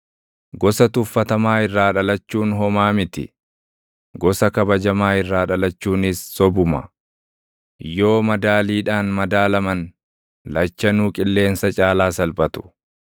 Gosa tuffatamaa irraa dhalachuun homaa miti; gosa kabajamaa irraa dhalachuunis sobuma; yoo madaaliidhaan madaalaman lachanuu qilleensa caalaa salphatu.